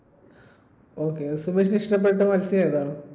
Okay സുമേഷിന് ഇഷ്ടപ്പെട്ട മൽസ്യമേതാണ്?